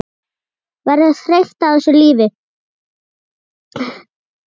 Verður þreytt á þessu lífi.